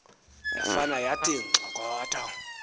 yafane yathi nxokotho